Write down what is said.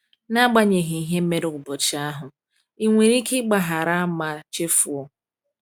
N’agbanyeghị ihe mere n’ụbọchị ahụ, ị nwere ike ịgbaghara ma chefuo?